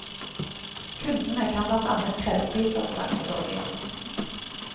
Kundene kan blant annet kreve prisavslag for dårlig jobb.